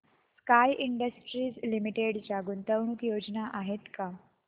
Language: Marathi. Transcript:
स्काय इंडस्ट्रीज लिमिटेड च्या गुंतवणूक योजना आहेत का